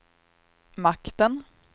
makten